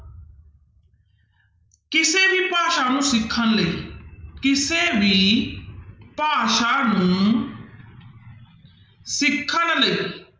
ਕਿਸੇ ਵੀ ਭਾਸ਼ਾ ਨੂੰ ਸਿੱਖਣ ਲਈ ਕਿਸੇ ਵੀ ਭਾਸ਼ਾ ਨੂੰ ਸਿੱਖਣ ਲਈ